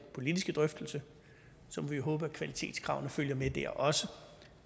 politiske drøftelse så må vi håbe at kvalitetskravene følger med der også